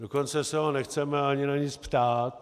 Dokonce se ho nechceme ani na nic ptát.